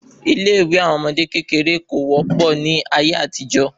Ilé ìwé àwọn ọmọdé kékeré kò wọ́pọ̀ ní ayé àtijó